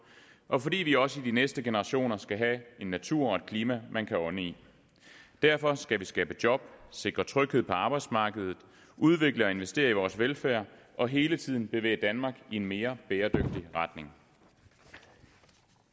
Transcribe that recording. og fordi vi også i de næste generationer skal have en natur og et klima man kan ånde i derfor skal vi skabe job sikre tryghed på arbejdsmarkedet udvikle og investere i vores velfærd og hele tiden bevæge danmark i en mere bæredygtig retning